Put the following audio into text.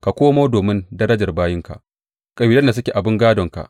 Ka komo domin darajar bayinka, kabilan da suke abin gādonka.